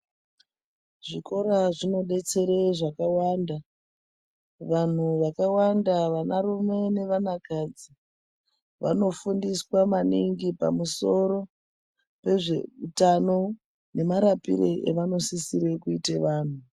Zvikora zvinobetsere zvakawanda vanhu vakawanda vanarume nevana kadzi vanofundiswa maningi pamusoro pezveutano nemarapire evanosisire kuite vanhu.